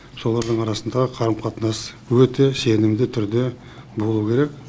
солардың арасындағы қарым қатынас өте сенімді түрде болу керек